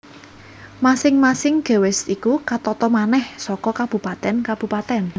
Masing masing gewest iku katata manèh saka kabupatèn kabupatèn